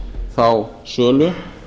þá sölu